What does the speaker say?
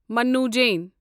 مننو Jain